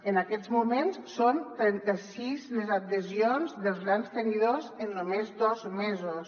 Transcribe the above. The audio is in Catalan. en aquests moments són trenta sis les adhesions dels grans tenidors en només dos mesos